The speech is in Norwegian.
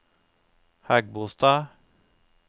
Hægebostad